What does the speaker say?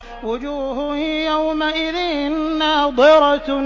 وُجُوهٌ يَوْمَئِذٍ نَّاضِرَةٌ